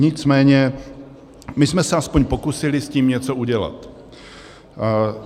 Nicméně my jsme se aspoň pokusili s tím něco udělat.